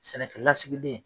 Sɛnɛkɛlalasigilen